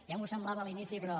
ja m’ho semblava a l’inici però